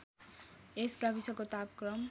यस गाविसको तापक्रम